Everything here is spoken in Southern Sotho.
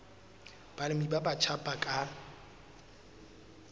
balemi ba batjha ba ka